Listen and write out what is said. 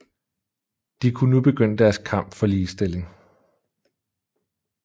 De kunne nu begynde deres kamp for ligestilling